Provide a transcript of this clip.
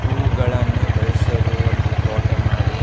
ಹೂವುಗಳನ್ನು ಬೆಳ್ಸೋದು ಒಂದು ತೋಟೆ ಮಾಡಿ.